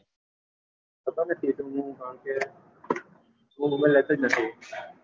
હું mobile લેતો જ નથી